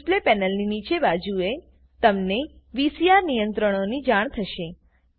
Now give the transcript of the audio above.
display પેનલની નીચેની બાજુએ તમને વીસીઆર નિયંત્રણોની જાણ થશે